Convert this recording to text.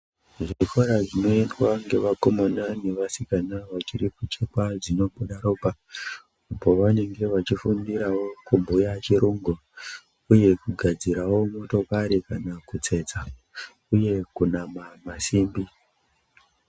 Zvikora zvinoendwa nevakomana nevasikana vachiri kuchekwa dzinobuda ropa Pavanenge vachifundirawo kubhuya chirungu uye kugadzirawo motokari kana kutsetsa uye kana kunamawo masimbi.